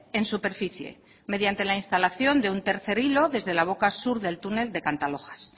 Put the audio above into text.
en superficie mediante la instalación de un tercer hilo desde la boca sur del túnel de cantalojas